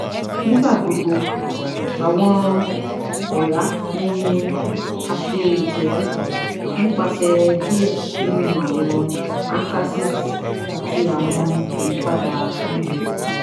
Nigbagbogbo awọn ọra ni a ṣe itọju nipasẹ diẹ ninu awọn antacids ati awọn ayipada ounjẹ